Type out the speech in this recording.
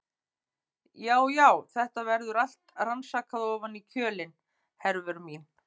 Já, já, þetta verður allt rannsakað ofan í kjölinn, Hervör mín.